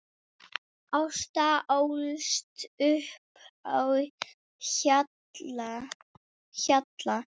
Ása ólst upp á Hjalla.